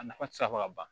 A nafa ti se fɔ ka ban